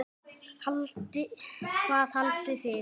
Hvað haldið þið!